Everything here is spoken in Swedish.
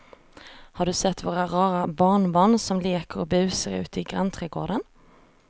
Har du sett våra rara barnbarn som leker och busar ute i grannträdgården!